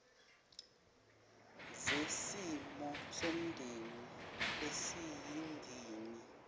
zesimo somndeni esiyingini